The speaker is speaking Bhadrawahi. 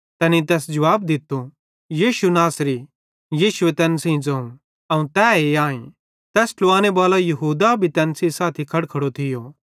तैनेईं तैस जुवाब दित्तो यीशु नासरी यीशुए तैन सेइं ज़ोवं अवं तैए आईं तैस ट्लुवांने बालो यहूदा भी तैन सेइं साथी खड़खड़ो थियो